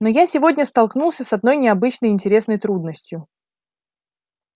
но я сегодня столкнулся с одной необычной и интересной трудностью